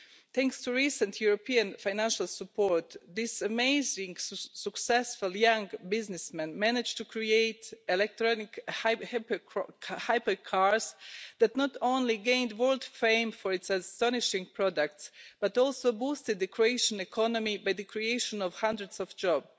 Thanks to recent European financial support, this amazing, successful young businessman managed to create electronic hybrid cars that not only gained world fame for its astonishing products but also boosted the Croatian economy by the creation of hundreds of jobs.